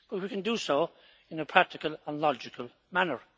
But we can do so in a practical and logical manner.